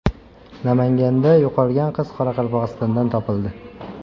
Namanganda yo‘qolgan qiz Qoraqalpog‘istondan topildi.